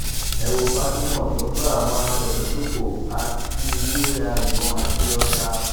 ẹ wo fatima tó ń bá àwọn àfẹmíṣòfò ajínigbé ra ìbọn àti ọta